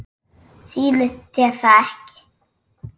Sýnist þér það ekki?